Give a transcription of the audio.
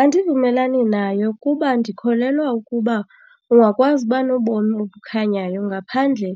Andivumelani nayo kuba ndikholelwa ukuba ungakwazi uba nobomi obukhanyayo ngaphandle